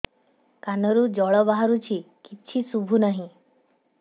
କାନରୁ ଜଳ ବାହାରୁଛି କିଛି ଶୁଭୁ ନାହିଁ